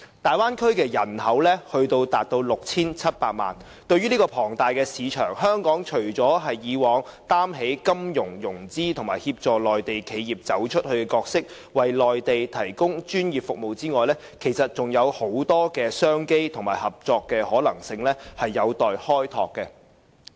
大灣區人口達 6,700 萬，對於這個龐大市場，香港除了像以往擔起金融、融資和協助內地企業"走出去"的角色，為內地提供專業服務外，其實還有很多商機和合作的可能性有待開拓。